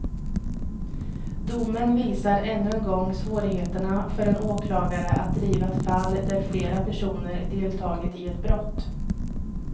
Domen visar än en gång svårigheterna för en åklagare att driva ett fall där flera personer deltagit i ett brott.